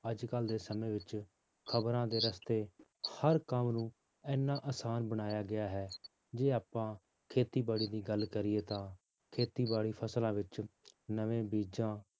ਅੱਜ ਕੱਲ੍ਹ ਦੇ ਸਮੇਂ ਵਿੱਚ ਖ਼ਬਰਾਂ ਦੇ ਰਸਤੇ ਹਰ ਕੰਮ ਨੂੰ ਇੰਨਾ ਆਸਾਨ ਬਣਾਇਆ ਗਿਆ ਹੈ, ਜੇ ਆਪਾਂ ਖੇਤੀਬਾੜੀ ਦੀ ਗੱਲ ਕਰੀਏ ਤਾਂ ਖੇਤੀਬਾੜੀ ਫਸਲਾਂ ਵਿੱਚ ਨਵੇਂ ਬੀਜਾਂ,